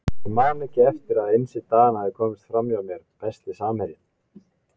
Ég man ekki eftir að Einsi Dan hafi komist fram hjá mér Besti samherjinn?